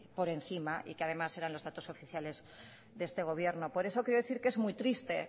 por encima y que además eran los datos oficiales de este gobierno por eso quiero decir que es muy triste